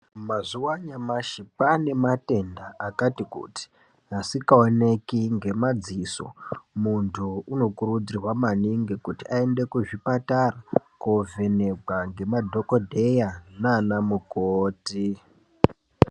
Mazuwa anyamashi kwaane matenda akati kuti asikaoneki ngemadziso muntu unokurudzirwa maningi kuti aende kuzvipatara kovhenekwa nemadhokodheya neanamukoti.